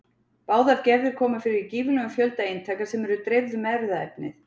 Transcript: Báðar gerðir koma fyrir í gífurlegum fjölda eintaka sem eru dreifð um erfðaefnið.